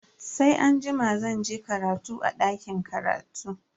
Sai anjima zan je karatu a dakin karatu.